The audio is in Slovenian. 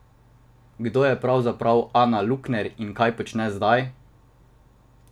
Kdo je pravzaprav Ana Lukner in kaj počne zdaj?